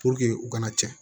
u kana cɛn